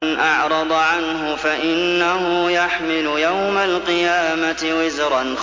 مَّنْ أَعْرَضَ عَنْهُ فَإِنَّهُ يَحْمِلُ يَوْمَ الْقِيَامَةِ وِزْرًا